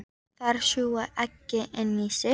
Þær sjúga eggin inn í sig.